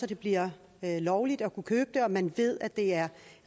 det bliver lovligt at kunne købe dem og at man ved at det er